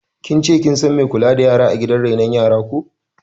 Kin ce kin san mai kula da yara a gidan renon yaran ko?